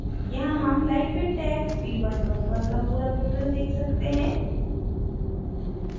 यहाँ हम lightweight tag v11 का पूरा विवरण tag सकते हैं